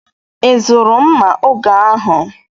Ị zụrụ mma oge ahụ?